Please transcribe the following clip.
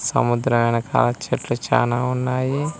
సముద్రం వెనకాల చెట్లు చాలా ఉన్నాయి.